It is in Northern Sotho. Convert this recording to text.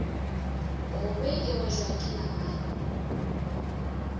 gobe e wetšwa ke namane